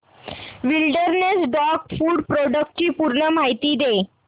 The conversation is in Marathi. विलडेरनेस डॉग फूड प्रोडक्टस ची पूर्ण माहिती दे